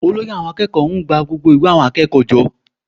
Olórí àwọn akẹ́kọ̀ọ́ ń gba ìwé gbogbo akẹ́kọ̀ọ́ jọ